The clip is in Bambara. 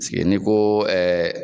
sigi n'i ko